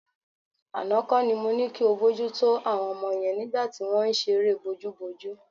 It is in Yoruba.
Àná kọ́ ni mo ní kí o bójútó àwọn ọmọ yẹn nígbà tí wọ́n ń ṣeré bojúbojú.